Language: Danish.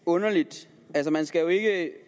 underligt